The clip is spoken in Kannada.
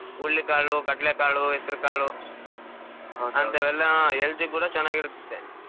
ಹುರ್ಳಿಕಾಳು, ಕಡ್ಲೆಕಾಳು , ಹೆಸ್ರುಕಾಳು helth ಇಗೂ ಕೂಡಾ ಚೆನ್ನಾಗಿರತೈತೆ.